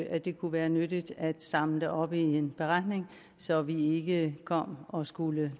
at det kunne være nyttigt at samle det op i en beretning så vi ikke kom og skulle